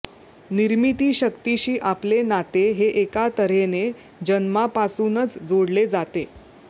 निर्मितीशक्तीशी आपले नाते हे एका तर्हेने जन्मापासूनच जोडले जाते